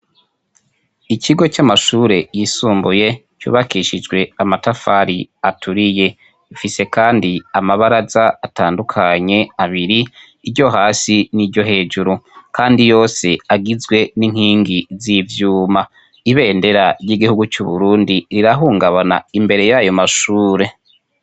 Ikigo c'amashure yisumbuye c'ubakishijwe amatafari aturiye, rifise kandi amabaraza atandukanye abiri: iryo hasi niryo hejuru, kandi yose agizwe n'inkingi z'ivyuma. Ibendera ry'igihugu c'Uburundi rirahungabana imbere y'ayo mashure.